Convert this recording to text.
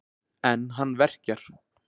En hann verkjar.